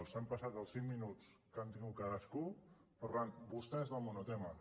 s’han passat els cinc minuts que han tingut cadascú parlant vostès del monotema